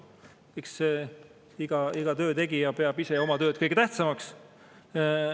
Eks iga töötegija peab ise oma tööd kõige tähtsamaks.